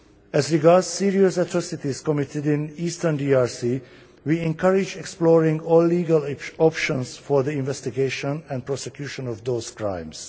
As regards serious atrocities committed in eastern DRC, we encourage the exploration of all legal options for the investigation and prosecution of those crimes.